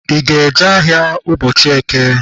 I ga-eje ahịa ụbọchị eke?